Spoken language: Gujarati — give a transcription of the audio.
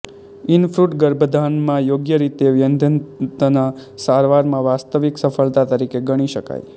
ઇનફ્રૂટ ગર્ભાધાનમાં યોગ્ય રીતે વંધ્યત્વના સારવારમાં વાસ્તવિક સફળતા તરીકે ગણી શકાય